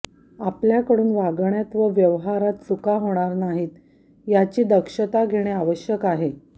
आपल्याकडून वागण्यात व व्यवहारात चुका होणार नाहीत याची दक्षता घेणे आवश्यक आहे